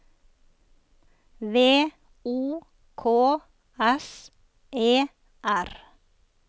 V O K S E R